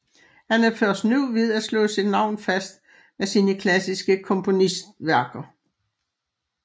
Han er først nu ved at slå sit navn fast med sine klassiske kompositionsværker